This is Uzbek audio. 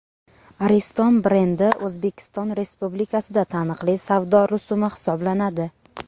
Ariston brendi O‘zbekiston Respublikasida taniqli savdo rusumi hisoblanadi.